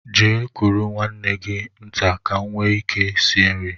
Gaa kuru nwanne gị nta ka m nwee ike sie nri!